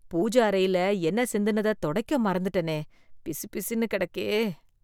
பூஜ அறையில எண்ணெய் சிந்துனத தொடைக்க மறந்துட்டனே. பிசுபிசுன்னு கெடக்கே.